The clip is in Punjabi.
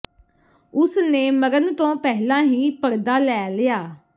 ਉਸ ਨੇ ਮਰਨ ਤੋਂ ਪਹਿਲਾਂ ਹੀ ਪਰਦਾ ਲੈ ਲਿਆ